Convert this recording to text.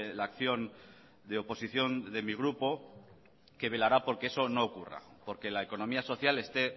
la acción de oposición de mi grupo que velará porque eso no ocurra porque la economía social esté